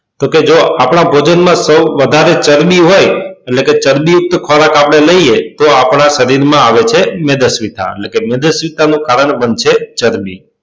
તો કે જો આપદા ભોજન માં ચરબી હોય એટલે કે ચરબી યુક્ત ખોરાક આપડે લઈએ તો આપદા શરીર માં આવે છે મેદસ્વીતા એટલે કે મેદસ્વીતા નું કારણ બનશે ચરબી